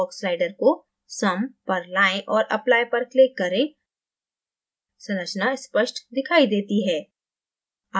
fog slider को someपर लायें और applyपर click करें संरचना स्पष्ट दिखाई देती है